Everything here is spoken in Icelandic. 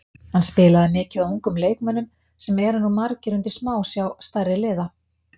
Hann spilaði mikið á ungum leikmönnum sem eru nú margir undir smásjá stærri liða.